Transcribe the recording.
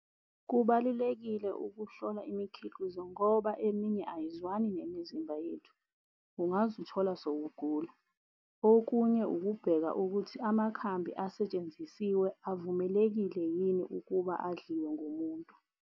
Kubalulekile ukuhlola imikhiqizo ngoba eminye ayizwani nemizimba yethu ungazithola sewugula. Okunye ukubheka ukuthi amakhambi asetshenzisiwe avumelekile yini ukuba adliwe ngumuntu.